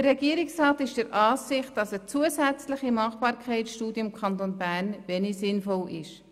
Der Regierungsrat ist der Ansicht, dass eine zusätzliche Machbarkeitsstudie im Kanton Bern wenig sinnvoll ist.